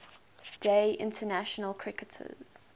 day international cricketers